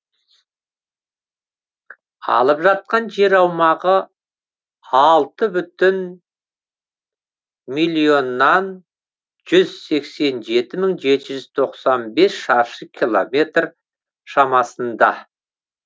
алып жатқан жер аумағы алты бүтін миллионнан жүз сексен жеті мың жеті жүз тоқсан бес шаршы километр шамасында